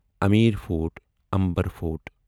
Amir Fort Amber fort